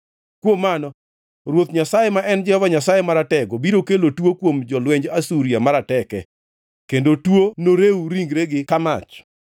Kuom mano, Ruoth Nyasaye ma en Jehova Nyasaye Maratego, biro kelo tuo kuom jolwenj Asuria marateke; kendo tuo norew ringregi ka mach.